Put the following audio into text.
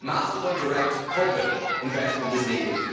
Massive and direct public investment is needed.